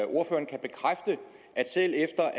ordføreren kan bekræfte at selv efter